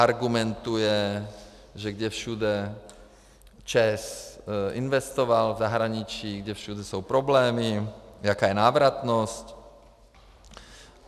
Argumentuje, že kde všude ČEZ investoval v zahraničí, kde všude jsou problémy, jaká je návratnost.